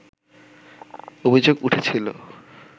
অভিযোগ উঠেছিল